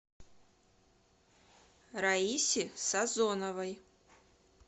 раисе сазоновой